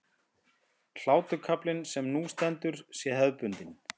Hlákukaflinn sem nú stendur sé hefðbundinn